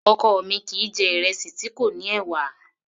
Ọkọ mi kìí jẹ̀ ìrẹsì tí kò ní ẹ̀wà